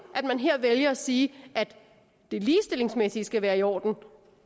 at man her vælger at sige at det ligestillingsmæssige skal være i orden